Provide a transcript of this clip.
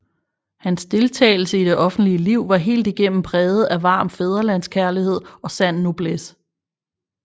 Hans deltagelse i det offentlige liv var helt igennem præget af varm fædrelandskærlighed og sand noblesse